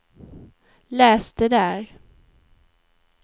läs det där